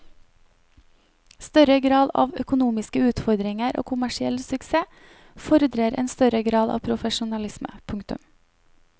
Større grad av økonomiske utfordringer og kommersiell suksess fordrer en større grad av profesjonalisme. punktum